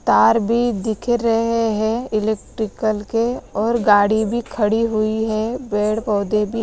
तार भी दिख रहे हैं इलेक्ट्रिकल के और गाड़ी भी खड़ी हुई है पेड़ पौधे--